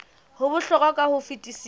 ho bohlokwa ka ho fetisisa